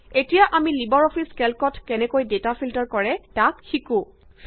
এতিয়া আমি LibreOffice কেল্কত কেনেকৈ ডেটা ফিল্টাৰ কৰে তাক শিকোঁ